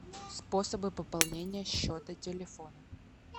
способы пополнения счета телефона